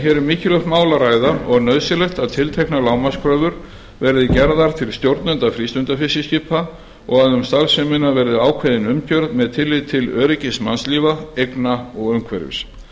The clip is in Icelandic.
um mikilvægt mál að ræða og nauðsynlegt að tilteknar lágmarkskröfur verði gerðar til stjórnenda frístundafiskiskipa og að um starfsemina verði ákveðin umgjörð með tilliti til öryggis mannslífa eigna og umhverfis